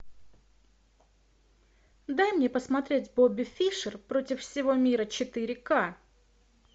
дай мне посмотреть бобби фишер против всего мира четыре ка